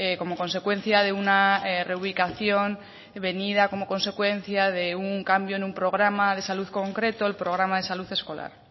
como consecuencia de una reubicación venida como consecuencia de un cambio en un programa de salud concreto el programa de salud escolar